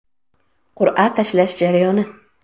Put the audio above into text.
Qur’a tashlash jarayoni.